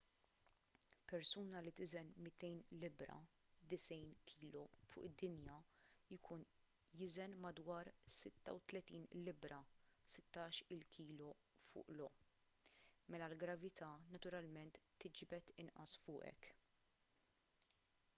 persuna li tiżen 200 libbra 90 kg fuq id-dinja jkun jiżen madwar 36 libbra 16-il kg fuq io. mela l-gravità naturalment tiġbed inqas fuqek